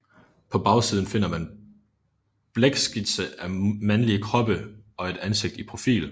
På bagsiden finder man en blækskitse af mandlige kroppe og et ansigt i profil